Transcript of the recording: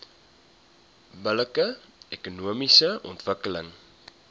billike ekonomiese ontwikkeling